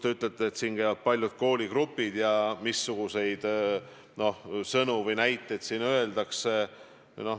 Te ütlete, et siin käivad paljud kooligrupid ja et on oluline, missuguseid sõnu siin öeldakse.